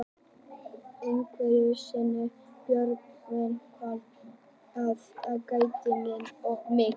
Einhverju sinni sagði Björg vinkona að ég gætti mín of mikið.